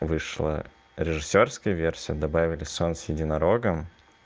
вышла режиссёрская версия добавили сон с единорогом